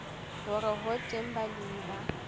hore ho teng balemi ba